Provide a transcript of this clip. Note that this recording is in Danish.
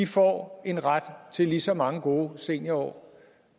får en ret til lige så mange gode seniorår